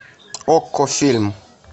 окко фильм